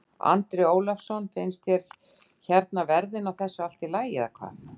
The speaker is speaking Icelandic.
Andri Ólafsson: Finnst þér hérna verðin á þessu allt í lagi eða?